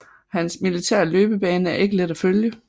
Hans militære løbebane er ikke let at følge